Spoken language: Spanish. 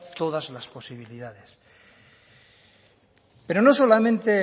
todas las posibilidades pero no solamente